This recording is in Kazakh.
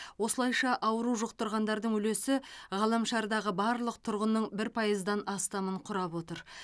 осылайша ауру жұқтырғандардың үлесі ғаламшардағы барлық тұрғынның бір пайыздан астамын құрап отыр